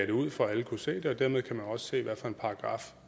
det ud for at alle kunne se det og dermed kan man også se hvilken paragraf